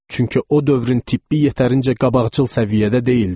Çünki o dövrün tibbi yetərincə qabaqcıl səviyyədə deyildi.